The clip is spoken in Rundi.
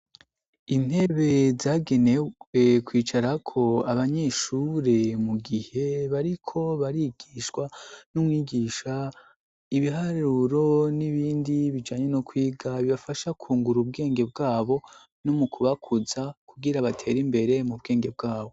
Intebe zagenewe kwicarako abanyeshure mu gihe bariko barigishwa n'umwigisha ibiharuro n'ibindi bijanye no kwiga bibafasha kwungura ubwenge bwabo no mu kubakuza kugira batera imbere mu bwenge bwabo.